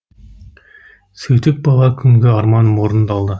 сөйтіп бала күнгі арманым орындалды